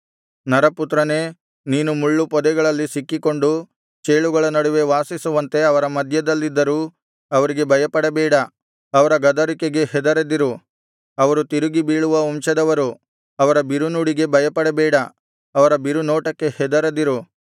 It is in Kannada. ನರಪುತ್ರನೇ ನೀನು ಮುಳ್ಳುಪೊದೆಗಳಲ್ಲಿ ಸಿಕ್ಕಿಕೊಂಡು ಚೇಳುಗಳ ನಡುವೆ ವಾಸಿಸುವಂತೆ ಅವರ ಮಧ್ಯದಲ್ಲಿದ್ದರೂ ಅವರಿಗೆ ಭಯಪಡಬೇಡ ಅವರ ಗದರಿಕೆಗೆ ಹೆದರದಿರು ಅವರು ತಿರುಗಿ ಬೀಳುವ ವಂಶದವರು ಅವರ ಬಿರುನುಡಿಗೆ ಭಯಪಡಬೇಡ ಅವರ ಬಿರುನೋಟಕ್ಕೆ ಹೆದರದಿರು